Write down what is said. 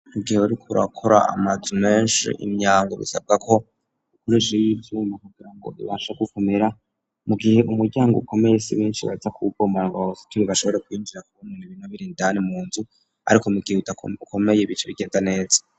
Mugihe uriko urakora amazu menshi imyango bisabwa ko nurishira ivyuma kugira ngo bibashe gufumira mu gihe umuryango ukomeye si benshi baza kuwubomora ngo bawusiture ngo bashobore kwinjira kubw'ibintu biba biri indani mu nzu ariko mu gihe ukomeye bica bigenda neza.